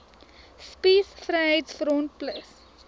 spies vryheids front plus